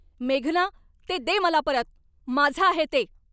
मेघना, ते दे मला परत. माझं आहे ते!